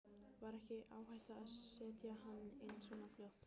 Var ekki áhætta að setja hana inn svo fljótt?